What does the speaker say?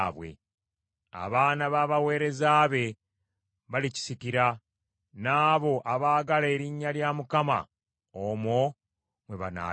Abaana b’abaweereza be balikisikira; n’abo abaagala erinnya lya Mukama omwo mmwe banaabeeranga.